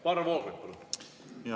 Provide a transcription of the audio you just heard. Varro Vooglaid, palun!